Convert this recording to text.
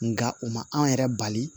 Nka o ma an yɛrɛ bali